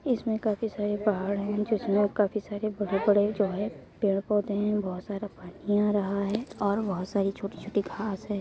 इसमें काफी सारे पहाड़ है जिसमें काफी सारे बड़े-बड़े जो है पेड़ पौधे हैं बोहोत सारा पानी आ रहा है और बोहोत सारी छोटी-छोटी घास है।